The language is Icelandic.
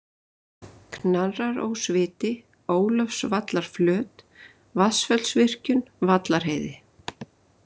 Knarrarósviti, Ólafsvallaflöt, Vatnsfellsvirkjun, Vallarheiði